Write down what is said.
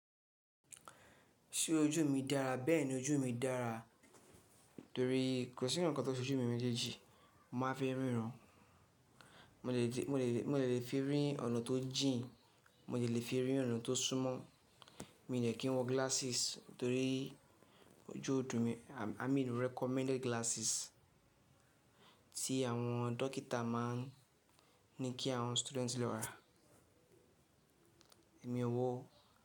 Ṣé ojú mi dára? Bẹ́ẹ̀ni ojú mi dára torí ko si nǹkan tó se ojú mi mẹjeji, màá fi ríran. Mo de lè fi rí ọ̀nà tó jìn, mo lè fi rí ọ̀nà tó súnmọ́, mi de kínwọ glasses torí ojú òdùn mi. I mean recommended glasses tí àwọn dókítà má ń ní kí àwọn studenti lo rà. Èmi ò wọ o.